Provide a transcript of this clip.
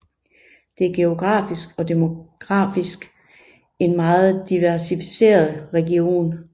Det er geografisk og demografisk en meget diversificeret region